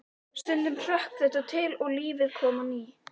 Stundum hrökk þetta til og lífið kom á ný.